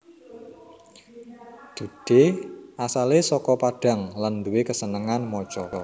Dude asalé saka Padang lan nduwe kasenengan maca